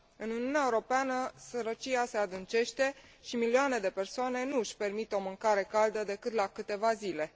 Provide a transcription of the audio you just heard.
În Uniunea Europeană, sărăcia se adâncește și milioane de persoane nu își permit o mâncare caldă, decât la câteva zile.